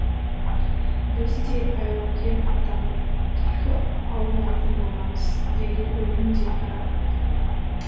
біз де айлакер атанып түлкі аулайтын боламыз деген өлең де тарады